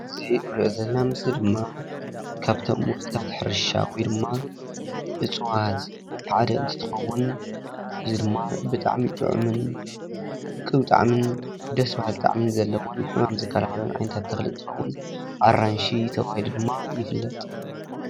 እዚ ንሪኦ ዘለና ምስሊ ድማ ካብቶም ውጽኢታት ሕርሻ ወይ ድማ እጽዋት ሓደ እንትትከውን እዚ ድማ ብጣዕሚ ጥዑምን ብጣዕምን ደስ በሃሊ ጣዕሚን ዘለዎን ሕማም ዝከላኸልን ዓይነታት ተኽልን እንትኸውን ኣራንሺ ተባሂሉ ድማ ይፍለጥ።